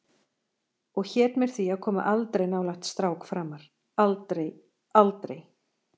Og hét mér því að koma aldrei nálægt strák framar, aldrei, aldrei.